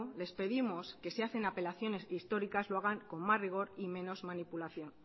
les pedimos que si hacen apelaciones históricas lo hagan con más rigor y menos manipulación